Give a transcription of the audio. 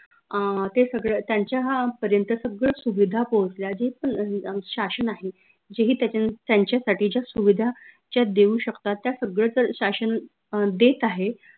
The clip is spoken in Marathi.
अं ते सगळं त्यांच्या पर्यंत सगळ्या सुविधा पोहोचल्या जे पन शासन आहे जेही त्यांच्यासाठीच्या सुविधा ज्या देऊ शकतात त्या सगळ्या शासन देत आहे